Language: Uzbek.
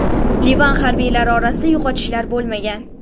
Livan harbiylari orasida yo‘qotishlar bo‘lmagan.